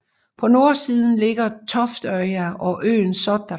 På nordsiden ligger Toftøya og øen Sotra